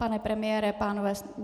Pane premiére, pánové?